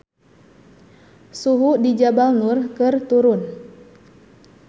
Suhu di Jabal Nur keur turun